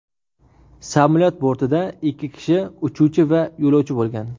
Samolyot bortida ikki kishi uchuvchi va yo‘lovchi bo‘lgan.